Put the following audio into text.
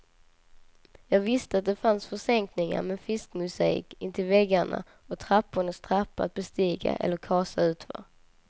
Jag visste att det fanns försänkningar med fiskmosaik intill väggarna och trappornas trappa att bestiga eller kasa utför.